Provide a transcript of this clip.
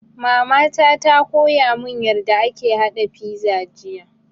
Mama ta koya mun yarda ake haɗa fiza jiya